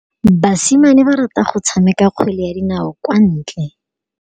Basimane ba rata go tshameka kgwele ya dinaô kwa ntle.